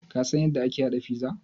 Ka san yadda ake haɗa pizza?